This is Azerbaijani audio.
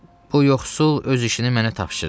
Bu yoxsul öz işini mənə tapşırıb,